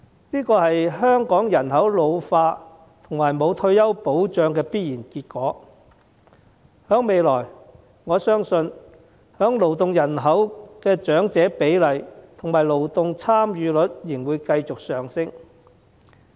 這是香港人口老化和欠缺退休保障的必然結果，我相信未來勞動人口的長者比例和勞動參與率仍會繼續上升。